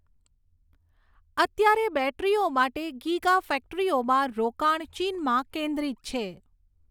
અત્યારે, બૅટરીઓ માટે ગીગા ફૅક્ટરીઓમાં રોકાણ ચીનમાં કેન્દ્રિત છે.